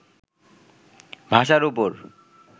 ভাষার উপর